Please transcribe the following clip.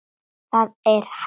ÞAÐ ER HÆGT